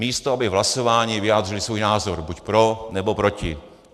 Místo aby v hlasování vyjádřili svůj názor buď pro, nebo proti.